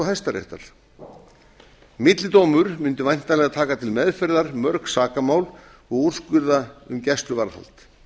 hæstaréttar millidómur mundi væntanlega taka til meðferðar mörg sakamál og úrskurða um gæsluvarðhald